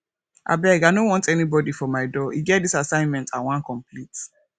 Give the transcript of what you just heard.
abeg i no want anybody for my door e get dis assignment i wan complete